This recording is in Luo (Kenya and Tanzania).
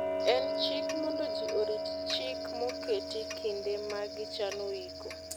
en chik mondo ji orit chik moketi kinde ma gi chano iko